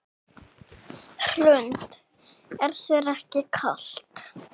Hrund: Er þér ekki kalt?